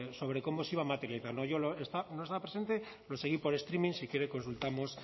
sobre cómo se iba a materializar yo no estaba presente lo seguí por streaming si quiere consultamos